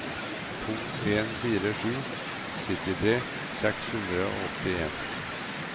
to en fire sju syttitre seks hundre og åttien